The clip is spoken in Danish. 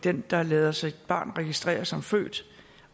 den der lader sit barn registrere som født